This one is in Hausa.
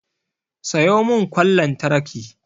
Sayo mun kwan lantraki